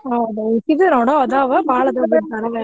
ಹೌದ ಇಕಿದು ನೋಡು ಅದಾವ ಬಾಳ್ .